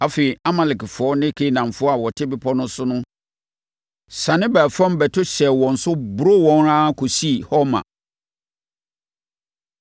Afei, Amalekfoɔ ne Kanaanfoɔ a wɔte bepɔ no so no siane baa fam bɛto hyɛɛ wɔn so boroo wɔn ara kɔsii Horma.